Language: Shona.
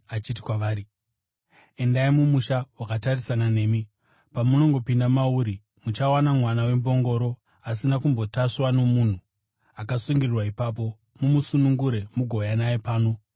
achiti kwavari, “Endai mumusha wakatarisana nemi. Pamunongopinda mauri, muchawana mwana wembongoro asina kumbotasvwa nomunhu, akasungirirwa ipapo. Mumusunungure mugouya naye pano.